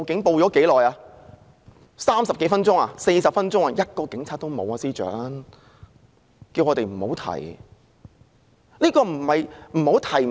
便是30多分鐘，接近40分鐘，連1名警察也看不到，司長還叫我們不要再提。